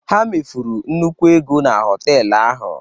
Ha mefuru nnukwu ego na họtel ahụ.